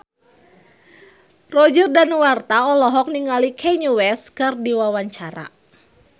Roger Danuarta olohok ningali Kanye West keur diwawancara